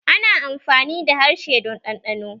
Ana amfani da harshe don ɗanɗano